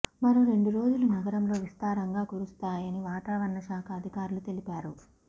మరో రెండు రోజులు నగరంలో విస్తారంగా కురుస్తాయని వాతావరణ శాఖ అధికారులు తెలిపారు